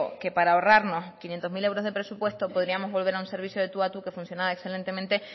que para ahorrarnos quinientos mil euros de presupuesto podríamos volver a un servicio de tú a tú que funcionaba excelentemente